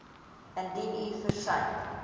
indien u versuim